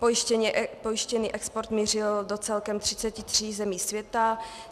Pojištěný export mířil do celkem 33 zemí světa.